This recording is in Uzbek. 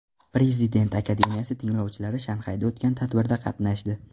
Prezident akademiyasi tinglovchilari Shanxayda o‘tgan tadbirda qatnashdi.